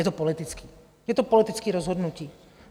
Je to politické, je to politické rozhodnutí.